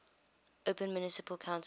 open municipal council